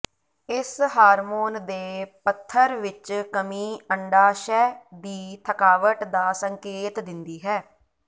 ਇਸ ਹਾਰਮੋਨ ਦੇ ਪੱਧਰ ਵਿੱਚ ਕਮੀ ਅੰਡਾਸ਼ਯ ਦੀ ਥਕਾਵਟ ਦਾ ਸੰਕੇਤ ਦਿੰਦੀ ਹੈ